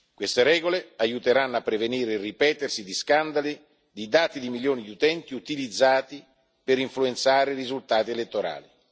Queste regole aiuteranno a prevenire il ripetersi di scandali, di dati di milioni di utenti utilizzati per influenzare i risultati elettorali.